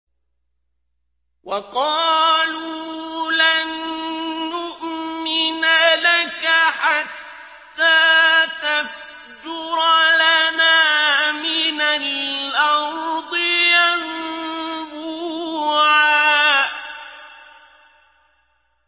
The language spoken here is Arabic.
وَقَالُوا لَن نُّؤْمِنَ لَكَ حَتَّىٰ تَفْجُرَ لَنَا مِنَ الْأَرْضِ يَنبُوعًا